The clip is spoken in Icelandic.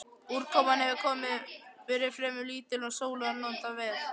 Úrkoman hefur verið fremur lítil og sólar notið vel.